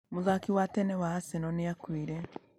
Mũthaki wa tene wa Arsenal nĩ akuire.